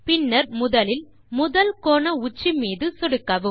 பின்னர் முதலில் முதல் கோண உச்சி மீது சொடுக்கவும்